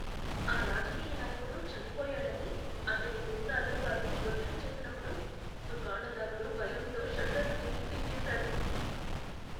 ఆ రాజకీయ నాయకుడు చనిపోయాడని అతని గూండాలు వారిని ఒత్తిడి చేసినప్పుడు దుకాణదారులు భయంతో షట్టర్లు కిందికి దించేసారు.